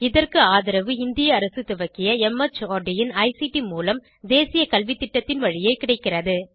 இதற்கு ஆதரவு இந்திய அரசு துவக்கிய மார்ட் இன் ஐசிடி மூலம் தேசிய கல்வித்திட்டத்தின் வழியே கிடைக்கிறது